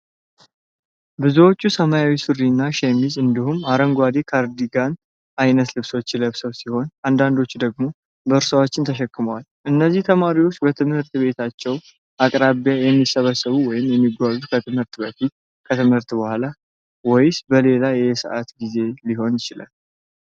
ብዙዎቹ ሰማያዊ ሱሪዎች እና ሸሚዞች እንዲሁም የአረንጓዴ ካርዲጋን አይነት ልብሶች ለብሰው ሲሆን፣ አንዳንዶቹ ደግሞ ቦርሳዎች ተሸክመዋል። እነዚህ ተማሪዎች በትምህርት ቤታቸው አቅራቢያ የሚሰበሰቡት ወይም የሚጓዙት ከትምህርት በፊት፣ ከትምህርት በኋላ ወይስ በሌላ የዕለት ጊዜ ሊሆን ይችላል?